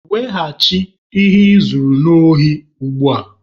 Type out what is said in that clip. Weghachi ihe I zuru n'ohi ugbua!